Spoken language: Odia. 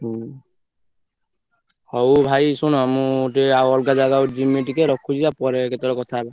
ହୁଁ ହଉ ଭାଇ ଶୁଣ ମୁ ଟିକେ ଆଉ ଅଲଗା ଜାଗା କୁ ଜିମି ଟିକେ ଆଉ ପରେ କେତେବେଳେ କଥା ହବା।